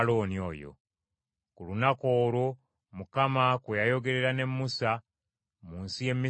Ku lunaku olwo Mukama kwe yayogerera ne Musa mu nsi y’e Misiri,